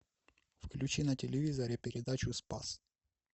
включи на телевизоре передачу спас